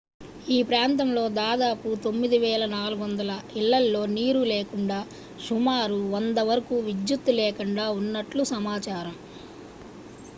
ఈ ప్రాంతంలో దాదాపు 9400 ఇళ్లలో నీరు లేకుండా సుమారు 100 వరకు విద్యుత్ లేకుండా ఉన్నట్లు సమాచారం